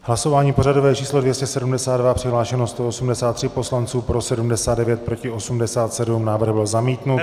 Hlasování pořadové číslo 272, přihlášeno 183 poslanců, pro 79, proti 87, návrh byl zamítnut.